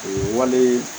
O ye wale